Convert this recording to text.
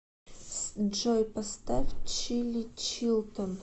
джой поставь чили чилтон